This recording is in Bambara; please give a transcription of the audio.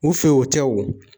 U fɛ yen, o tɛ wo.